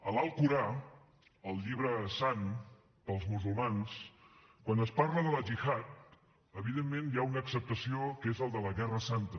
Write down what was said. a l’alcorà el llibre sant per als musulmans quan es parla de la gihad evidentment hi ha una accepció que és la de la guerra santa